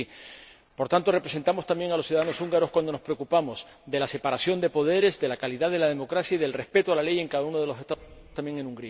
Y sí, representamos también a los ciudadanos húngaros cuando nos preocupamos de la separación de poderes, de la calidad de la democracia y del respeto de la ley en cada uno de los Estados miembros, también en